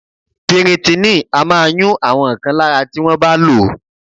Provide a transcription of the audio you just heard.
Piritíìnì a máa yún àwọn kan lára tí wọ́n bá lò ó